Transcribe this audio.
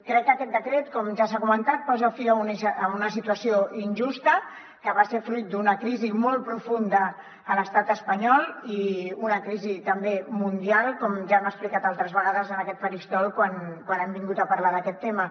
crec que aquest decret com ja s’ha comentat posa fi a una situació injusta que va ser fruit d’una crisi molt profunda a l’estat espanyol i una crisi també mundial com ja hem explicat altres vegades en aquest faristol quan hem vingut a parlar d’aquest tema